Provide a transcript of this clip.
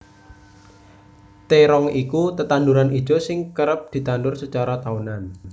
Térong iku tetanduran ijo sing kerep ditandur sacara taunan